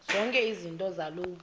zonke izinto zaloo